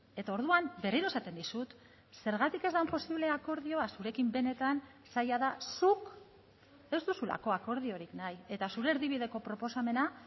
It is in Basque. eta orduan berriro esaten dizut zergatik ez den posible akordioa zurekin benetan zaila da zuk ez duzulako akordiorik nahi eta zure erdibideko proposamena